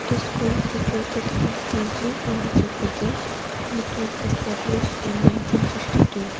this school is situated in tezu arunachal pradesh and it was established in nineteen fifty two.